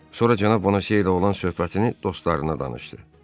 Sonra cənab Bonecey ilə olan söhbətini dostlarına danışdı.